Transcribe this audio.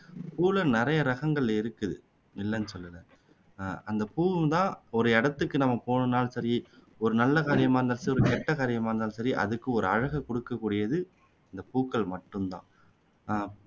பூவுல நிறைய ரகங்கள் இருக்குது இல்லைன்னு சொல்லல அஹ் அந்த பூ தான் ஒரு இடத்துக்கு நம்ம போனோம்னாலும் சரி ஒரு நல்ல காரியமா இருந்தாலும் சரி ஒரு கெட்ட காரியமா இருந்தாலும் சரி அதுக்கு ஒரு அழகை குடுக்க கூடியது இந்த பூக்கள் மட்டும் தான்